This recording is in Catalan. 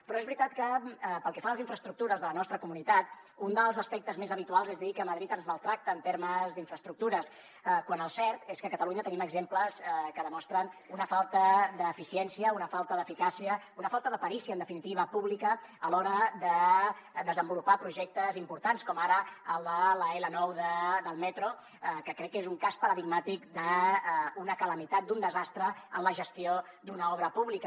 però és veritat que pel que fa a les infraestructures de la nostra comunitat un dels aspectes més habituals és dir que madrid ens maltracta en termes d’infraestructures quan el cert és que a catalunya tenim exemples que demostren una falta d’eficiència una falta d’eficàcia una falta de perícia en definitiva pública a l’hora de desenvolupar projectes importants com ara el de l’l9 del metro que crec que és un cas paradigmàtic d’una calamitat d’un desastre en la gestió d’una obra pública